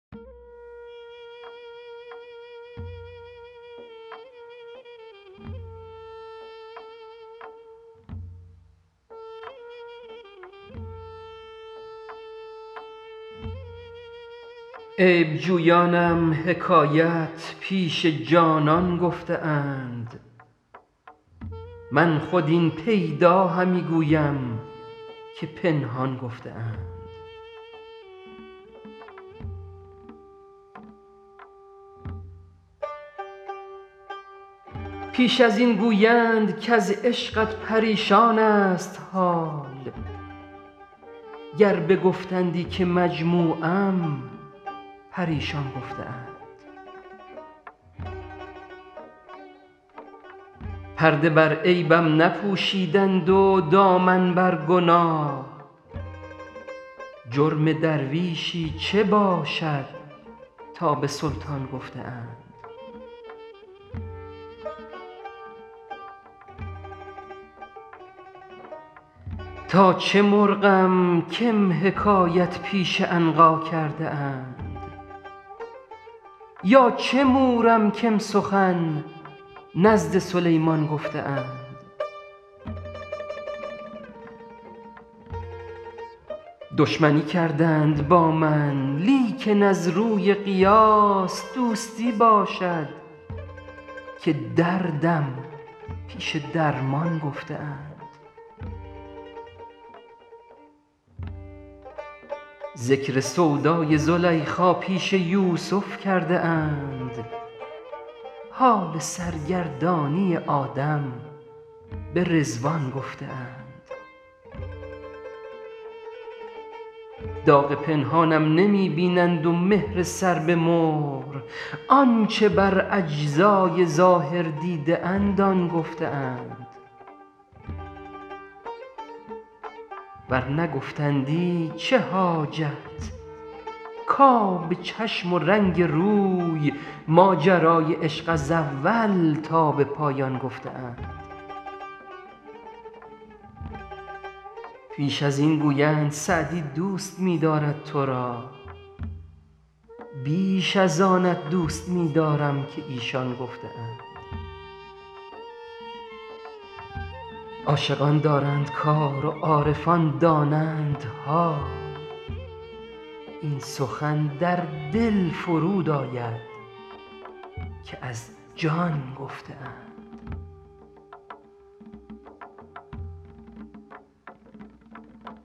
عیب جویانم حکایت پیش جانان گفته اند من خود این پیدا همی گویم که پنهان گفته اند پیش از این گویند کز عشقت پریشان ست حال گر بگفتندی که مجموعم پریشان گفته اند پرده بر عیبم نپوشیدند و دامن بر گناه جرم درویشی چه باشد تا به سلطان گفته اند تا چه مرغم کم حکایت پیش عنقا کرده اند یا چه مورم کم سخن نزد سلیمان گفته اند دشمنی کردند با من لیکن از روی قیاس دوستی باشد که دردم پیش درمان گفته اند ذکر سودای زلیخا پیش یوسف کرده اند حال سرگردانی آدم به رضوان گفته اند داغ پنهانم نمی بینند و مهر سر به مهر آن چه بر اجزای ظاهر دیده اند آن گفته اند ور نگفتندی چه حاجت کآب چشم و رنگ روی ماجرای عشق از اول تا به پایان گفته اند پیش از این گویند سعدی دوست می دارد تو را بیش از آنت دوست می دارم که ایشان گفته اند عاشقان دارند کار و عارفان دانند حال این سخن در دل فرود آید که از جان گفته اند